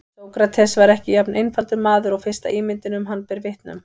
Sókrates var ekki jafn einfaldur maður og fyrsta ímyndin um hann ber vitni um.